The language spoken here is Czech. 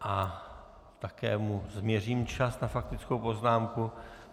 A také mu změřím čas na faktickou poznámku.